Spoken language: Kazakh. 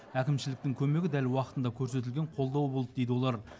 әкімшіліктің көмегі дәл уақытында көрсетілген қолдау болды дейді олар